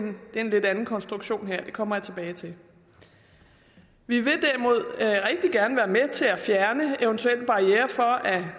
en lidt anden konstruktion her det kommer jeg tilbage til vi vil derimod rigtig gerne være med til at fjerne eventuelle barrierer for at